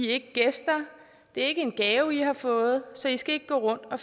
ikke gæster det er ikke en gave i har fået så i skal ikke gå rundt og